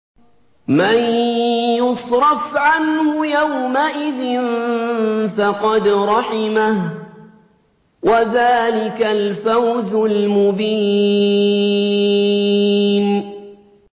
مَّن يُصْرَفْ عَنْهُ يَوْمَئِذٍ فَقَدْ رَحِمَهُ ۚ وَذَٰلِكَ الْفَوْزُ الْمُبِينُ